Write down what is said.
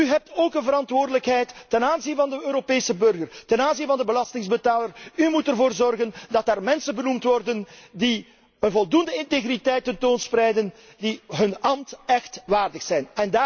U heeft ook een verantwoordelijkheid ten aanzien van de Europese burger, ten aanzien van de belastingbetaler, u moet ervoor zorgen dat er mensen benoemd worden die voldoende integriteit tentoonspreiden, die hun ambt echt waardig zijn.